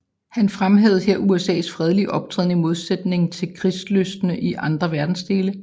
Han fremhævede her USAs fredelige optræden i modsætning til krygslysten i andre verdensdele